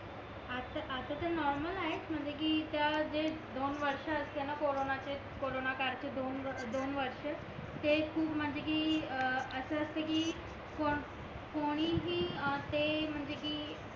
आता तर नॉर्मल आहे म्हणजे कि ज्या जे दोन वर्ष असते ना कॉरोन चे कॉरोन काळ चे दोन वर्ष ते खूप म्हणजे कि अस असत कि कोणीही ते म्हणजे कि